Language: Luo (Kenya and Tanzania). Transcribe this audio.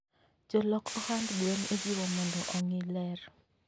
Jolok ohand gwen ijiwo mondo ongii ler